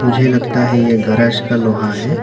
मुझे लगता है ये गराज का लोहा है।